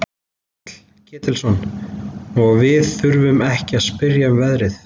Páll Ketilsson: Og við þurfum ekki að spyrja um verðið?